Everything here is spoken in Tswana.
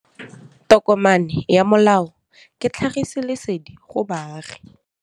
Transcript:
Tokomane ya molao ke tlhagisi lesedi go baagi.